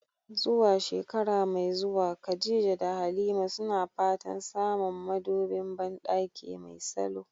Zuwa shekara mai zuwa, Khadija da Halima suna fatan samun madubin bandaki mai salo.